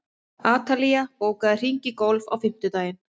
Atalía, bókaðu hring í golf á fimmtudaginn.